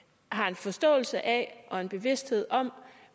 har en forståelse af og en bevidsthed om